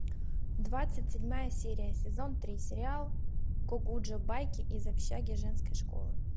двадцать седьмая серия сезон три сериал гокуджо байки из общаги женской школы